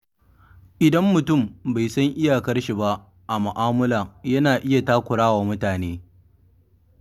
Idan mutum bai san iyakarshi ba a mu'amala yana iya takurawa mutane.